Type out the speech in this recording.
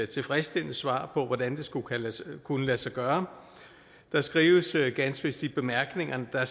tilfredsstillende svar på hvordan det skulle kunne lade sig gøre der skrives ganske vist i bemærkningerne at